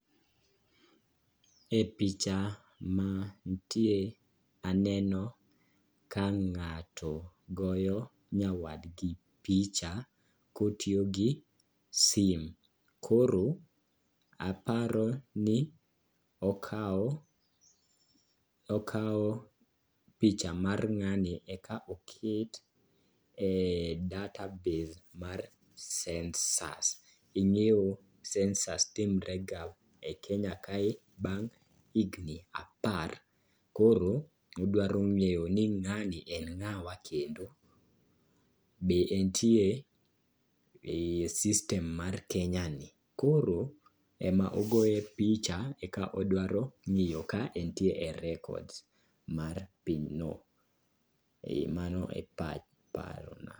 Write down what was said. E picha ma nitie ,aneno ka ng'ato goyo nyawadgi picha kotiyo gi sim, koro aparo ni okawo picha mar ng'ani eka oket e data base mar census. Ing'eyo census timrega e kenya kae bang' higni apar. Koro odwaro ng'eyo ni ng'ani en ng'awa kendo be entie e system mar kenya ni. Koro ema ogoye picha eka odwaro ng'eyo ka entie e records mar pinyno. E mano e parona.